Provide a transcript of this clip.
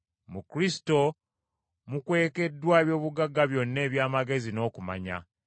Mu Kristo mwe mukwekeddwa eby’obugagga byonna eby’amagezi n’okumanya.